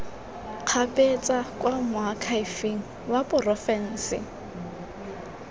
kgabetsa kwa moakhaefeng wa porofense